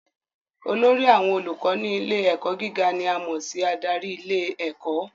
Olórí àwọn olùkọ́ ní ilé ẹ̀kọ́ gíga ni a mọ̀ sí adarí ilé ẹ̀kọ́